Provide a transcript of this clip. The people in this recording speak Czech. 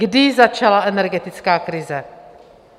Kdy začala energetická krize?